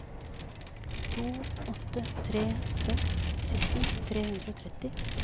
to åtte tre seks sytten tre hundre og tretti